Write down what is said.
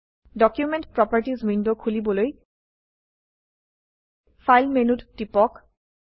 document properties window খুলিবলৈ file মেনুত টিপক